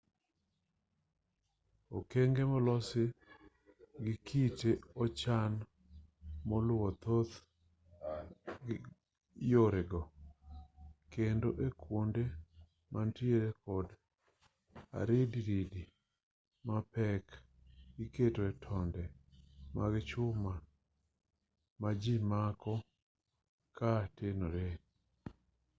okenge molosi gi kite ochan koluwo thoth yore go kendo e kwonde manitiere kod aridiridi mapek iketoe tonde mag chuma ma ji mako ka tenoree